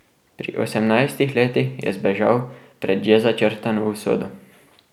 Pri osemnajstih letih je zbežal pred že začrtano usodo.